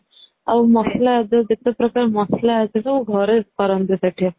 ଆଉ ମସଲା ଯେତେ ପ୍ରକାରର ର ମସଲା ଘରେ କରନ୍ତି ସେଠି